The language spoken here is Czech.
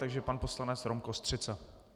Takže pan poslanec Rom Kostřica.